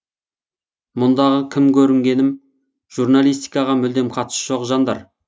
мұндағы кім көрінгенім журналистикаға мүлдем қатысы жоқ жандар